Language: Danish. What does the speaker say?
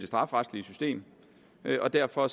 strafferetlige system og derfor